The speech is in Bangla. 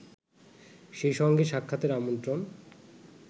সেই সঙ্গে সাক্ষাতের আমন্ত্রণ